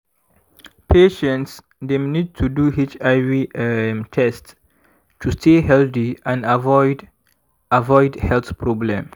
patients dem need to do hiv um test to stay healthy and avoid avoid health problem.